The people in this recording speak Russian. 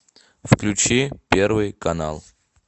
включи первый канал